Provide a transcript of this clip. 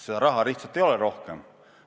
Seda raha lihtsalt ei ole rohkem.